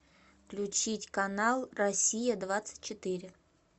включить канал россия двадцать четыре